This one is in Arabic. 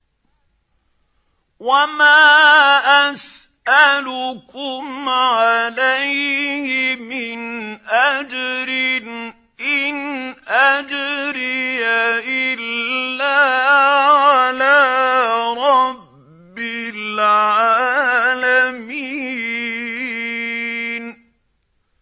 وَمَا أَسْأَلُكُمْ عَلَيْهِ مِنْ أَجْرٍ ۖ إِنْ أَجْرِيَ إِلَّا عَلَىٰ رَبِّ الْعَالَمِينَ